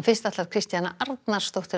Kristjana Arnarsdóttir